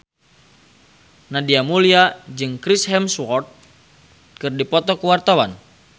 Nadia Mulya jeung Chris Hemsworth keur dipoto ku wartawan